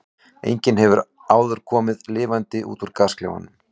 Enginn hefur áður komið lifandi út úr gasklefanum.